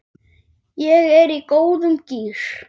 Ég er í góðum gír.